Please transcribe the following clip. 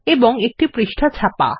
ও একটি পৃষ্ঠা ছাপা